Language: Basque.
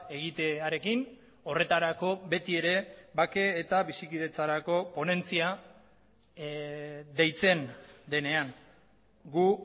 egitearekin horretarako betiere bake eta bizikidetzarako ponentzia deitzen denean gu